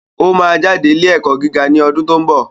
O máa jáde ilé ẹ̀kọ́ gíga ní ọdún tó ń bọ̀